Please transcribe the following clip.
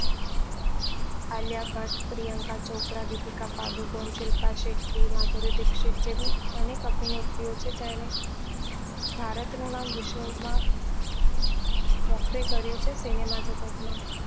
આલિયા ભટ્ટ, પ્રિયંકા ચોપરા, દીપિકા પાદુકોણ, શિલ્પા શેટ્ટી, માધુરી દીક્ષિત જેવી અનેક અભિનેત્રીઓ છે જેને ભારત નું નામ વિશ્વ માં મોખરે કર્યું છે cinema જગત માં